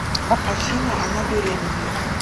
афина она беременна